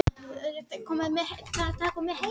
Furðustrandir seljast best